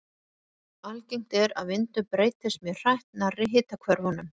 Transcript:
Algengt er að vindur breytist mjög hratt nærri hitahvörfunum.